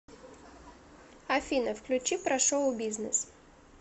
афина включи про шоу бизнес